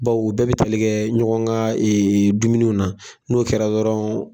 Bawo bɛɛ bɛ tile kɛɛ ɲɔgɔn ka dumuniw na. N'o kɛra dɔrɔn